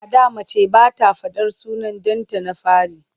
A da mace ba ta faɗar sunan ɗanta na fari.